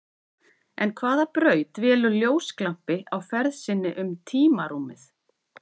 En hvaða braut velur ljósglampi á ferð sinni um tímarúmið?